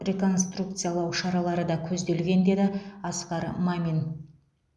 реконструкциялау шаралары да көзделген деді асқар мамин